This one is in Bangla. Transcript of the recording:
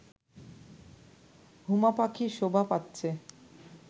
হুমা পাখি শোভা পাচ্ছে